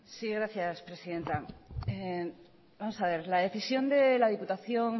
sí gracias presidenta la decisión de la diputación